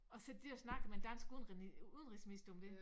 Og sidder de dér og snakker med en dansk udenrigs udenrigsminister om det